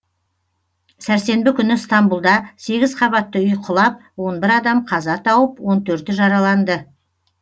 сәрсенбі күні стамбұлда сегіз қабатты үй құлап он бір адам қаза тауып он төрті жараланды